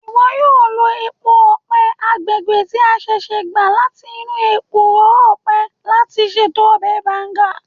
Iwọ yoo lo epo ọpẹ agbegbe ti a ṣẹṣẹ gba lati inu ekuro ọpẹ lati ṣeto ọbẹ Banga.